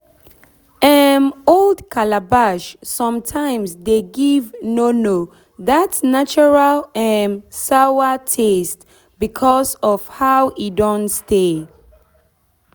um old calabash sometimes de give nono that natural um sawa taste because of how e don stay